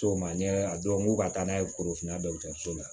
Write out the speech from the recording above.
So ma ɲɛ a dɔw m'u ka taa n'a ye forofina dɔgɔtɔrɔso la